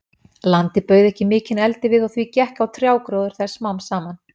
Landið bauð ekki mikinn eldivið, og því gekk á trjágróður þess smám saman.